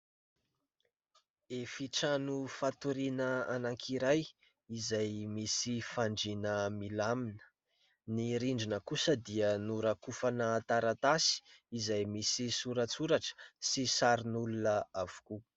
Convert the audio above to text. Efitrano fatoriana anankiray izay misy fandriana milamina. Ny rindrina kosa dia norakofana taratasy izay misy soratsoratra sy sarin'olona avokoa.